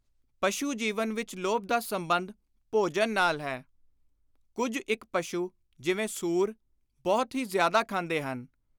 ਪਸ਼ੂ ਜੀਵਨ ਵਿਚ ਲੋਭ ਦਾ ਸੰਬੰਧ ਭੋਜਨ ਨਾਲ ਹੈ। ਕੁੱਝ ਇਕ ਪਸ਼ੂ, ਜਿਵੇਂ ਸੂਰ, ਬਹੁਤ ਹੀ ਜ਼ਿਆਦਾ ਖਾਂਦੇ ਹਨ।